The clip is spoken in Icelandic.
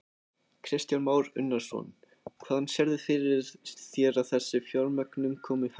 Kristján Már Unnarsson: Hvaðan sérðu fyrir þér að þessi fjármögnun komi helst?